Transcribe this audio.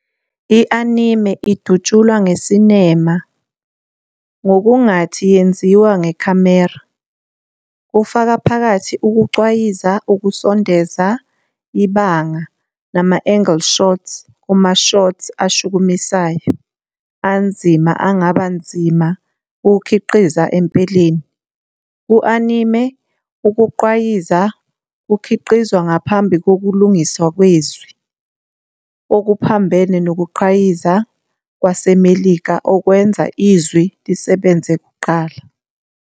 I-Anime idutshulwa ngesinema ngokungathi yenziwa ngekhamera, kufaka phakathi ukucwayiza, ukusondeza, ibanga nama-angle shots kuma-shots ashukumisayo anzima angaba nzima ukukhiqiza empeleni. Ku-anime, ukugqwayiza kukhiqizwa ngaphambi kokulingiswa kwezwi, okuphambene nokugqwayiza kwaseMelika okwenza izwi lisebenze kuqala.